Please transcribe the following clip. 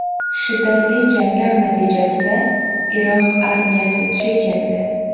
Shiddatli janglar natijasida Iroq armiyasi chekindi.